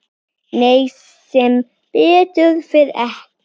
Nei, sem betur fer ekki.